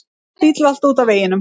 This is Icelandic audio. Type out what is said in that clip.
Bíll valt út af veginum.